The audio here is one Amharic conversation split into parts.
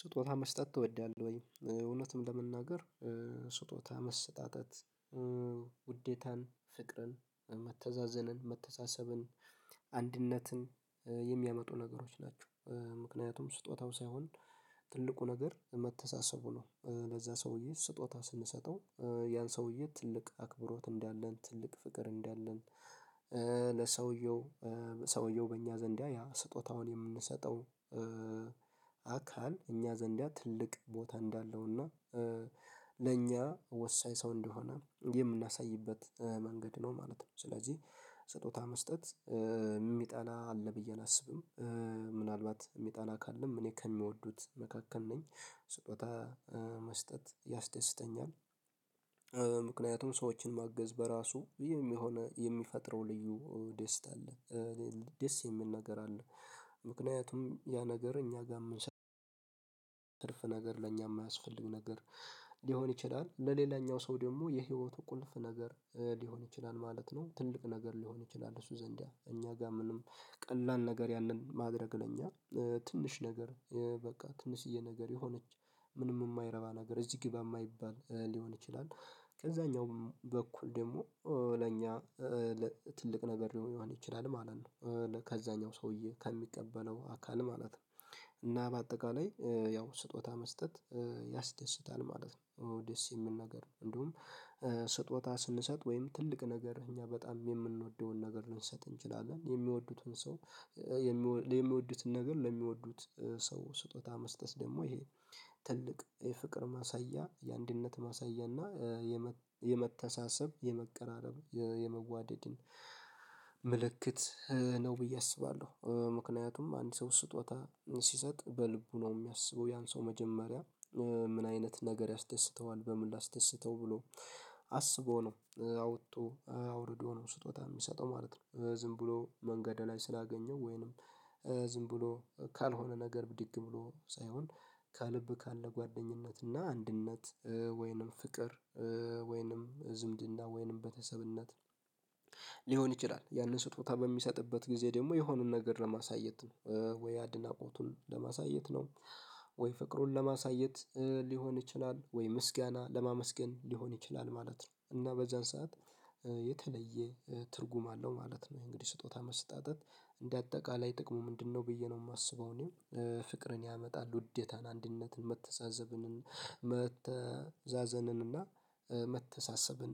ስጦታ መስጠት ትወዳለህ ወይ? እውነትም ለመናገር ስጦታ መስጣጠት ውዴታን ፍቅርን መተዛዘንን መተሳሰብን አንድነትን የሚያመጡ ነገሮች ናቸው ምክንያቱም ስጦታው ሳይሆን ትልቁ ነገር መተሳሰቡ ነው። ለዛ ሰውዬ ስጦታ ስንሰጠው ያን ሰውዬ ትልቅ አክብሮት እንዳለን ትልቅ ፍቅር እንዳለን ለሰውየው ሰውየው በእኛ ዘንዳ ያ ስጦታውን የምንሰጠው አካል እኛ ዘንዳ ትልቅ ቦታ እንዳለው እና ለእኛ ወሳኝ ሰው እንደሆነ የምናሳይበት መንገድ ነው ማለት ነው። ስለዚህ ስጦታ መስጠት የሚጠላ አለ ብዬ አላስብም ምናልባት የሚጣላ ካለም እኔ ከሚወዱት መካከል ነኝ ስጦታ መስጠት ያስደስተኛል። ምክንያቱም ሰዎችን ማገዝ በራሱ የሚሆነ የሚፈጥረው ልዩ ደስታ አለ ደስ የሚል ነገር አለ ምክንያቱም ያ ነገር እኛ ጋርም የምንሰራው ነገር ለእኛ የማያስፈልግ ነገር ሊሆን ይችላል ለሌላኛው ሰው ደግሞ የህይወቱ ቁልፍ ነገር ሊሆን ይችላል ማለት ነው። ትልቅ ነገር ሊሆን ይችላል እሱ ዘንድ እኛ ጋር ምንም ቀላል ነገር ያንን ማድረግ ለኛ ትንሽ ነገር በቃ ትንሽዬ ነገር የሆነች ምንም የማይረባ ነገር እዚህ ግባ የማይባል ሊሆን ይችላል ከዛኛው በኩል ደግሞ ለእኛ ትልቅ ነገር ሊሆን ይችላል ማለት ነው። ከዛኛው ሰውዬ ከሚቀበለው አካል ማለት ነው እና በአጠቃላይ ያው ስጦታ መስጠት ያስደስታል ማለት ነው። ደስ የሚል ነግር እንደውም ስጦታ ስንሰጥ ወይም ትልቅ ነገር እኛ በጣም የምንወደውን ነገር ልንሰጥ እንችላለን የሚወዱትን ሰው የሚወዱትን ነገር ለሚወዱት ሰው ስጦታ መስጠት ደግሞ ይሄ ትልቅ የፍቅር ማሳያ የአንድነት ማሳያ እና የመተሳሰብ የመቀራረብ የመዋደድን ምልክት ነው ብዬ አስባለሁ። ምክንያቱም አንድ ሰው ስጦታ ሲሰጥ በልቡ ነው የሚያስበው ያን ሰው መጀመሪያ ምን አይነት ነገር ያስደስተዋል በምን ላስደስተው ብሎ አስቦ ነው አውጥቶ አውርዶ ነው ስጦታ የሚሰጠው ማለት ነው። ዝም ብሎ መንገድ ላይ ስላገኘው ወይንም ዝም ብሎ ካልሆነ ነገር ብድግ ብሎ ሳይሆን ከልብ ካለ ጓደኝነት እና አንድነት ወይንም ፍቅር ወይንም ዝምድና ወይንም ቤተሰብነት ሊሆን ይችላል ያንን ስጦታ በሚሰጥበት ጊዜ ደግሞ የሆኑን ነገር ለማሳየት ነው ወይ አድናቆቱን ለማሳየት ነው ወይ ፍቅሩን ለማሳየት ሊሆን ይችላል ወይ ምስጋና ለማመስገን ሊሆን ይችላል ማለት ነው። እና በዛን ሰዓት የተለየ ትርጉም አለው ማለት ነው ይሄ እንግዲህ ስጦታ መሰጣጠት እንደ አጠቃላይ ጥቅሙ ምንድነው ብዬ ነው የማስበው? እኔም ፍቅርን ያመጣል ውዴታን አንድነትን መተዛዘብንን መተዛዘንን እና መተሳሰብን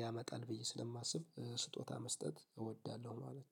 ያመጣል ብዬ ስለማስብ ስጦታ መስጠት እወዳለሁ ማለት ነው